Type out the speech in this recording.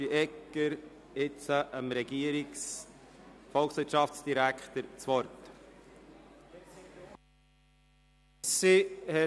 Ich erteile jetzt dem Volkswirtschaftsdirektor das Wort.